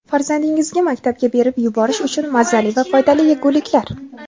Farzandingizga maktabga berib yuborish uchun mazali va foydali yeguliklar.